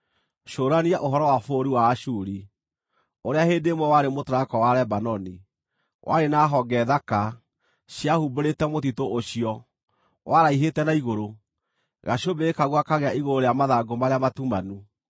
Cũrania ũhoro wa bũrũri wa Ashuri, ũrĩa hĩndĩ ĩmwe warĩ mũtarakwa wa Lebanoni, warĩ na honge thaka, ciahumbĩrĩte mũtitũ ũcio; waraihĩte na igũrũ, gacũmbĩrĩ kaguo gakagĩa igũrũ rĩa mathangũ marĩa matumanu.